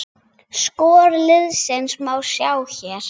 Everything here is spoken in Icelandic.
Skor liðsins má sjá hér